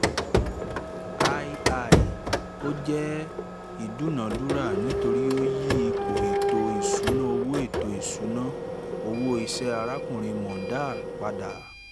ii) ò jẹ́ ìdúnadúrà nítorí ó yí ipò ètò ìṣúná owó ètò ìṣúná owó iṣẹ́ arákùnrin mondal padà